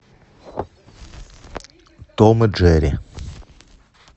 том и джерри